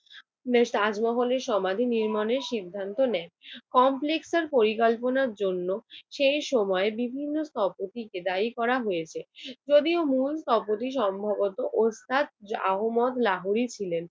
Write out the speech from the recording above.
বেশ তাজমহলের সমাধি নির্মাণের সিদ্ধান্ত নেন। কমপ্লেক্স এর পরিকল্পনার জন্য সেই সময় বিভিন্ন স্থপতিকে দায়ী করা হয়েছে যদিও মূল স্থপতি সম্ভবত ওস্তাদ আহমদ লাহোরী ছিলেন।